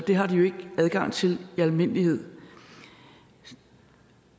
det har de jo ikke adgang til i almindelighed